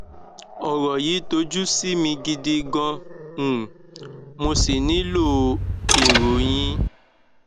ọrọ yìí tojú sú mi gidi gan um mo sì nílò èrò yín